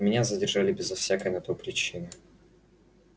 меня задержали безо всякой на то причины